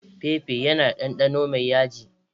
Pepper yana da ɗanɗano mai yaji.